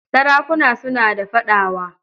Sarakuna suna da fadawa.